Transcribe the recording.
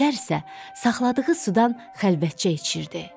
Şər isə saxladığı sudan xəlvətcə içirdi.